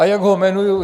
A jak ho jmenuji?